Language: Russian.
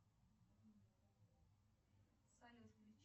салют включи